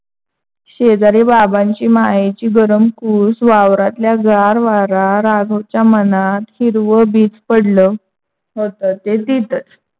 शेजारी बाबांची, मायेची गरम कूस वावरातला गार वारा राघव च्या मनात हिरव बीज पडल होता. ते तिथेच